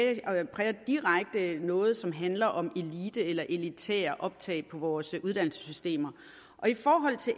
noget som handler om elite eller elitært optag på vores uddannelsesinstitutioner i forhold til